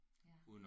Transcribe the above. Ja